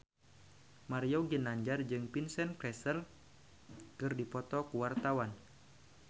Mario Ginanjar jeung Vincent Cassel keur dipoto ku wartawan